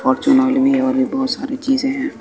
Fortune oil में और भी बहुत सारी चीजें हैं।